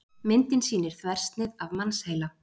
myndin sýnir þversnið af mannsheila